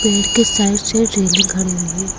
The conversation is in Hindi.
पेड़ के साइड साइड रेलिंग खड़ी हुई है।